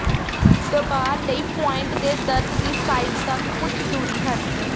ਦਬਾ ਲਈ ਪੁਆਇੰਟ ਦੇ ਦਰਦ ਦੀ ਸਾਈਟ ਤੱਕ ਕੁਝ ਦੂਰੀ ਹਨ